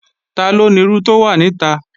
Taló nirú tó wà nita?